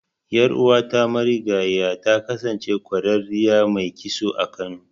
Ƴar'uwata marigayiya ta kasance ƙwararriyar mai kitso a Kano.